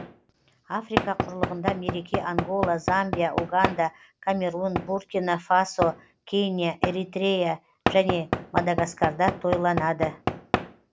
африка құрлығында мереке ангола замбия уганда камерун буркина фасо кения эритрея және мадагаскарда тойланады